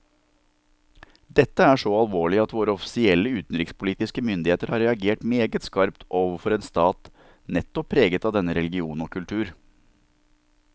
Dette er så alvorlig at våre offisielle utenrikspolitiske myndigheter har reagert meget skarpt overfor en stat nettopp preget av denne religion og kultur.